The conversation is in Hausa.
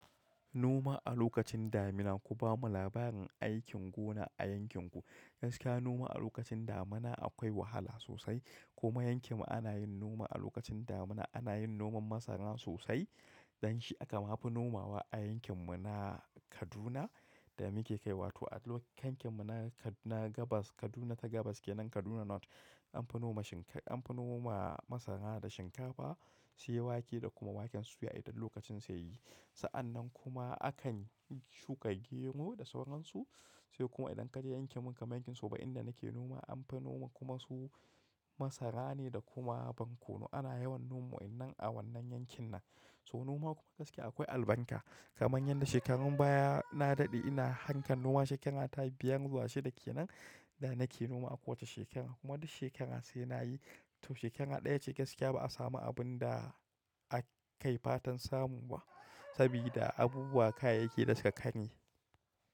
Noma a lokacin damina, ku bamu labarin aikin gona a yankin ku. Gaskiya noma a lokacin damina akwai wahala sosai. Kuma yankin mu ana yin noma a lokacin damina, ana yin noman masara sosai. Don shi aka ma fi nomawa a yankin mu na Kaduna da muke kaiwa to a kankin mu na Kaduna gabas Kaduna ta gabas kenan Kaduna North anfi noma shinka anfi noma masara da shinkafa, sai wake da kuma waken suya idan lokacin su yayi. Sa'annan kuma akan shuka gero da sauransu. Sai kuma idan ka je yankin mu kamar yankin soba inda nake noma anfi noma kuma su masara ne da kuma borkonu. Ana yawan noma wannan a wannan yankin nan. So noma kuma gaskiya akwai albarka. Kamar yadda shekarun baya na daɗe ina harkan noma shekara ta biyar zuwa shida kenan da nake noma a kowace shekara kuma duk shekara sai nayi. To shekara daya ce gaskiya ba samu abunda ake fantan samu ba sabida abubuwa, kayayyaki da suka ƙame.